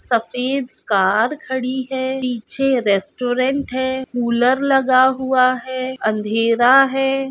सफेद कार खड़ी है पीछे रेस्टोरेंट है कूलर लगा हुआ है अंधेरा है।